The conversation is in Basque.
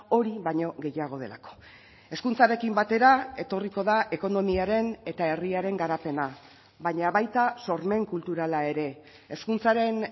hori baino gehiago delako hezkuntzarekin batera etorriko da ekonomiaren eta herriaren garapena baina baita sormen kulturala ere hezkuntzaren